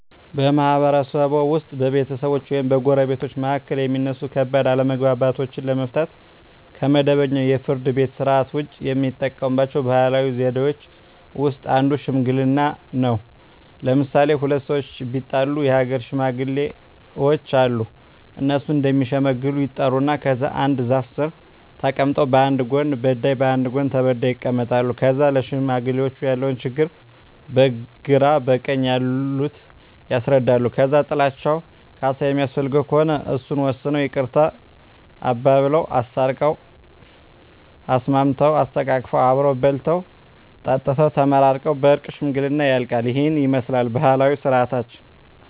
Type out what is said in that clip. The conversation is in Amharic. በማህበረሰብዎ ውስጥ በቤተሰቦች ወይም በጎረቤቶች መካከል የሚነሱ ከባድ አለመግባባቶችን ለመፍታት (ከመደበኛው የፍርድ ቤት ሥርዓት ውጪ) የሚጠቀሙባቸው ባህላዊ ዘዴዎች ውስጥ አንዱ ሽምግልና ነው። ለምሣሌ፦ ሁለት ሠዎች ቢጣሉ የአገር ሽማግሌዎች አሉ። እነሱ እዲሸመግሉ ይጠሩና ከዛ አንድ ዛፍ ስር ተቀምጠው በአንድ ጎን በዳይ በአንድ ጎን ተበዳይ ይቀመጣሉ። ከዛ ለሽማግሌዎች ያለውን ችግር በግራ በቀኝ ያሉት ያስረዳሉ። ከዛ ጥላቸው ካሣ የሚያስፈልገው ከሆነ እሱን ወስነው ይቅርታ አባብለው። አስታርቀው፤ አሳስመው፤ አሰተቃቅፈው አብረው በልተው ጠጥተው ተመራርቀው በእርቅ ሽምግልናው ያልቃ። ይህንን ይመስላል ባህላዊ ስርዓታችን።